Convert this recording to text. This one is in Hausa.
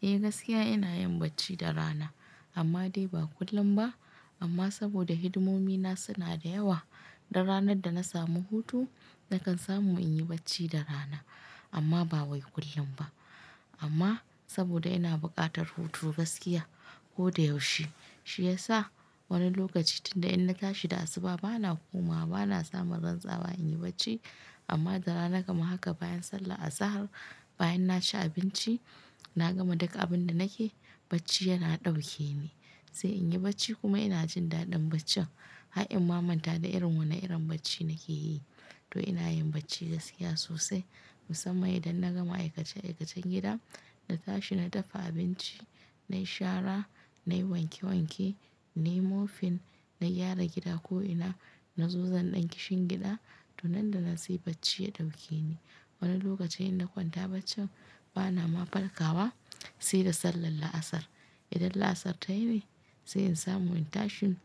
Eh gaskiya ina yin bacci da rana amma dai ba kullum ba. Amma saboda hidimomi na suna da yawa, dan ranar da na samu hutu nakan samu in yi bacci da rana amma ba wai kullum ba. Amma saboda ina buƙatar hutu gaskiya ko da yaushe, shi ya sa wani lokaci tunda in na tashi da asuba bana komawa, bana samun rantsawa in yi bacci amma da rana kam haka bayan sallah azahar, bayan na ci abinci na gama duka abin da nake bacci yana ɗauke ni. Sai in yi bacci kuma ina jin daɗin baccin. Ha'in mamanta da irin wane irin bacci nake yi. To ina yin bacci gaskiya sosai musamman idan na gama aikace-aikacen gida, na tashi na dafa abinci, nayi shara, nayi wanke-wanke, nayi mopping, na gyara gida ko ina, na zu zan ɗan kishin gida to nan da nan sai bacci ya ɗauke ni. Wani lokacin in na kwanta baccin bana ma farkawa sai da sallar la'asar. Idan la'asar tayi ne sai in samu in tashi,